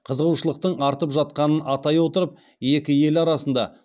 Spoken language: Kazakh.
қызығушылықтың артып жатқанын атай отырып екі ел арасында